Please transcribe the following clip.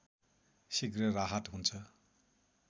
शीघ्र राहत हुन्छ